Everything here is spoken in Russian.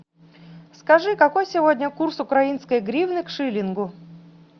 скажи какой сегодня курс украинской гривны к шиллингу